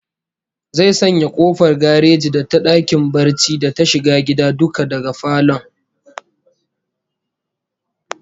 Zai sanya kofar gareji da ta dakin barci da ta shiga gida duka daga falon